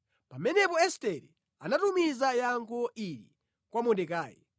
Pamenepo Estere anatumiza yankho ili kwa Mordekai: